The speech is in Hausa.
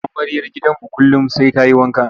Amaryar gidanmu kullum sai ta yi wanka.